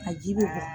A ji bɛ bɔ